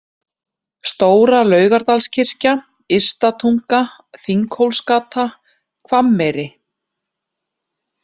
Stóra Laugardalskirkja, Ysta Tunga, Þinghólsgata, Hvammeyri